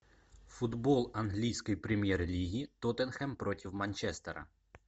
футбол английской премьер лиги тоттенхэм против манчестера